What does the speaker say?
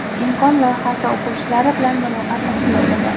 "Imkon" loyihasi o‘quvchilari bilan muloqot tashkil etildi.